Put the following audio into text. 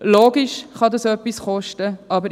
Es ist logisch, dass dies etwas kosten kann.